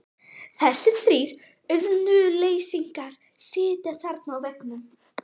Þessir þrír auðnuleysingjar sitja þarna á veggnum.